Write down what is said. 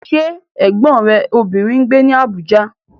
Ṣé Ẹ̀gbọ́n rẹ obìnrin ń gbé ní Abuja?